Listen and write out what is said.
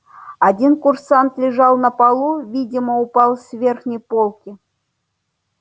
один курсант лежал на полу видимо упал с верхней полки